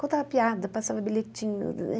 Contava piada, passava bilhetinho.